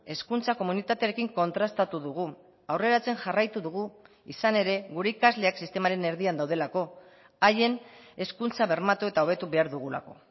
hezkuntza komunitatearekin kontrastatu dugu aurreratzen jarraitu dugu izan ere gure ikasleak sistemaren erdian daudelako haien hezkuntza bermatu eta hobetu behar dugulako